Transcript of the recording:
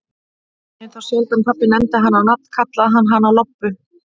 En þá sjaldan pabbi nefndi hana á nafn, kallaði hann hana oftast Lobbu.